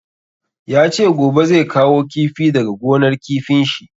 Ya ce gobe zai kawo kifi daga gonar kifin shi.